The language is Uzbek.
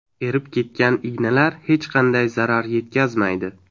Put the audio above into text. Erib ketgan ignalar hech qanday zarar yetkazmaydi.